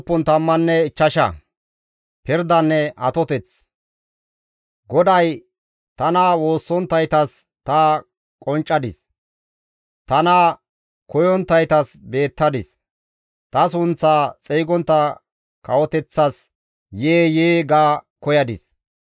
GODAY, «Tana woossonttaytas ta qonccadis; tana koyonttaytas beettadis. Ta sunththaa xeygontta kawoteththas, ‹Yee! Yee!› ga koyadis.